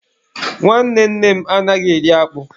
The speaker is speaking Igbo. Nwanne nne m anaghị eri akpụ.